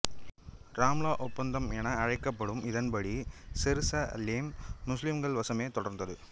ராம்லா ஒப்பந்தம் என அழைக்கப்படும் இதன் படி செருசலேம் முசுலிம்கள் வசமே தொடர்ந்தது